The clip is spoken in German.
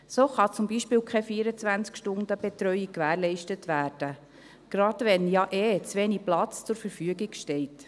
So kann zum Beispiel keine 24-Stunden-Betreuung gewährleistet werden, gerade wenn ja ohnehin zu wenig Platz zur Verfügung steht.